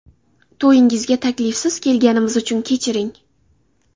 To‘yingizga taklifsiz kelganimiz uchun kechiring.